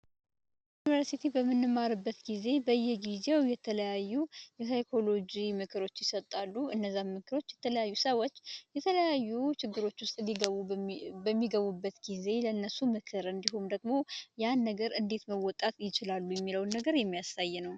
ዩንቨርስቲ በምንማርበት ጊዜ በየጊዜው የተለያዩ የሳይኮሎጂ ምክሮች ይሰጣሉ እነዛ ምክሮች ሰዎች የተለያዩ ችግሮች ውስጥ በሚገቡበት ጊዜ ለእነሱ ምክርን ወይም ደግሞ ያንን ነገር እንዴት መወጣት ይችላሉ የሚለውን ነገር የሚያሳይ ነው።